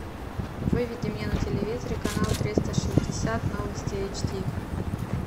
выведи мне на телевизоре канал триста шестьдесят новости эйч ди